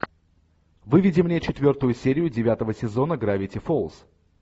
выведи мне четвертую серию девятого сезона гравити фолз